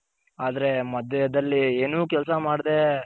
ಆದ್ರೆ ಮದ್ಯದಲ್ಲಿ ಏನು ಕೆಲ್ಸ ಮಾಡ್ದೆ